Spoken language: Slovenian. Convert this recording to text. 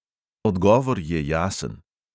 Odgovor je jasen.